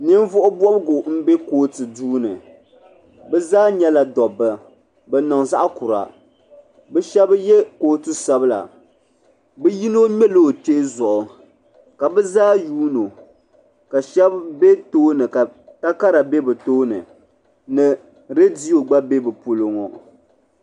Ninvuɣu bɔbgu n laɣim be kootuni, bɛ zaa nyɛla daba. bɛniŋ zaɣikura bɛshabi ye kootu sabila bɛyinɔ mŋela ɔkpee zuɣu kabɛ zaayuunɔ. kashabi be tooni ka takara be bɛ tooni, ni readio gba be bɛ pɔlɔŋɔ